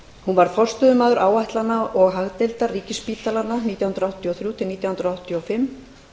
hún varð forstöðumaður áætlana og hagdeildar ríkisspítalanna nítján hundruð áttatíu og þrjú til nítján hundruð áttatíu og fimm